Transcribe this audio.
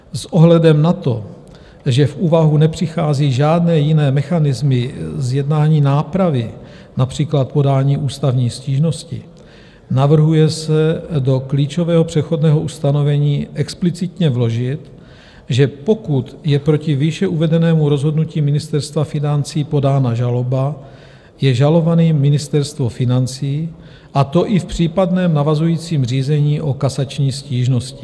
S ohledem na to, že v úvahu nepřichází žádné jiné mechanismy zjednání nápravy, například podání ústavní stížnosti, navrhuje se do klíčového přechodného ustanovení explicitně vložit, že pokud je proti výše uvedenému rozhodnutí Ministerstva financí podána žaloba, je žalovaným Ministerstvo financí, a to i v případném navazujícím řízení o kasační stížnosti.